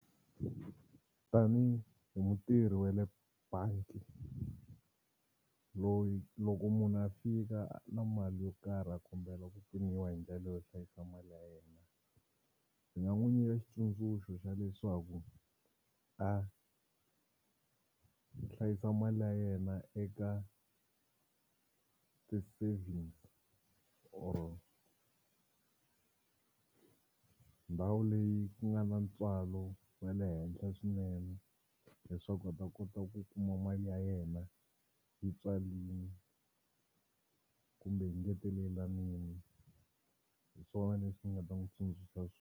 Tanihi mutirhi wa le bangi loyi loko munhu a fika na mali yo karhi a kombela ku pfuniwa hi ndlela yo hlayisa mali ya yena. Ni nga n'wi nyika xitsundzuxo xa leswaku a hlayisa mali ya yena eka ti-savings or ndhawu leyi ku nga na ntswalo wa le henhla swinene leswaku a ta kota ku kuma mali ya yena yi twalini kumbe yi engetelelanini hi swona leswi ni nga ta n'wi tsundzuxa .